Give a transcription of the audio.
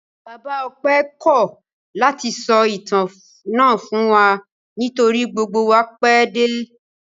Bàbá Ọpẹ́ kọ́ ọ̀ láti sọ ìtàn náà fún wa nítorí gbogbo wa pẹ́ dé.